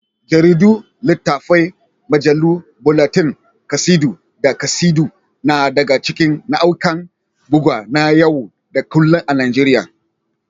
Jaridu, littafai, mujallu, bulletin, kasidu, da kasidu na daga cikin nau'ikan bugu na yau da kullun a Najeriya.